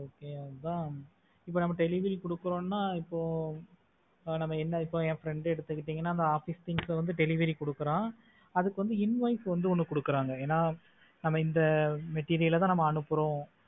okay அதான் இப்ப நம்ம delivery கொடுக்கிறோம்னா இப்போ ஆஹ் நம்ம என்ன இப்போ என் friend எடுத்துக்கிட்டேன்னா அந்த office things வந்து delivery கொடுக்கிறான் அதுக்கு வந்து invoice வந்து ஒன்னு கொடுக்கிறாங்க ஏன்னா நம்ம இந்த material ல தான் நம்ம அனுப்புறோம்